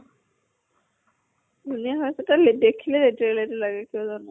ধুনীয়া হৈ আছে তাই দেখিলে লাগে কিয় জানো।